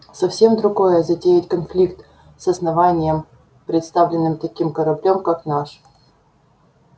совсем другое затеять конфликт с основанием представленным таким кораблём как наш